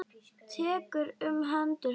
Tekur um hendur hans.